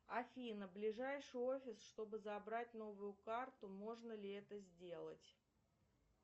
афина ближайший офис чтобы забрать новую карту можно ли это сделать